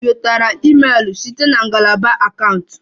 Ị nwetara email site na ngalaba akaụntụ?